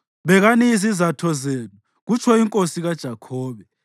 Bikani indaba yenu,” kutsho uThixo. “Bekani izizatho zenu,” kutsho iNkosi kaJakhobe.